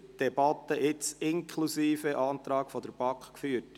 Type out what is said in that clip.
Wir haben die Debatte jetzt inklusive Antrag der BaK geführt.